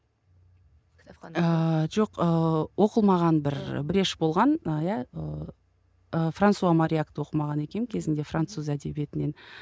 жоқ ыыы оқылмаған бір брешь болған ы иә ыыы франсуа мориакты оқымаған екенмін кезінде француз әдебиетінен